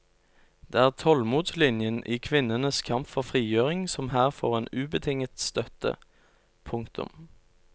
Det er tålmodslinjen i kvinnenes kamp for frigjøring som her får en ubetinget støtte. punktum